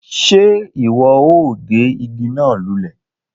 Ṣe iwọ o gé ìgi náà lulẹ?